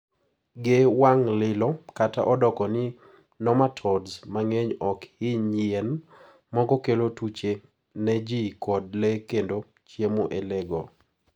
ge wang lilo, kata odoko ni nomatodes mang'eny ok hiny yien, moko kelo tuche ne ji kod le kendo chiemo e le go